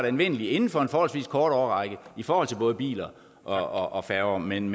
anvendelig inden for en forholdsvis kort årrække i forhold til både biler og færger men